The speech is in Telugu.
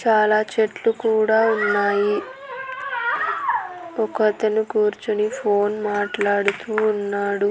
చాలా చెట్లు కూడా ఉన్నాయి ఒకతను కూర్చొని ఫోన్ మాట్లాడుతూ ఉన్నాడు.